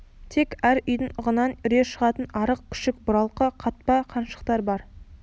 тек әр үйдің ығынан үре шығатын арық күшік бұралқы қатпа қаншықтар бар